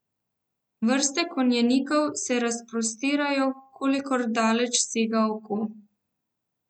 Vrste konjenikov se razprostirajo, kolikor daleč sega oko.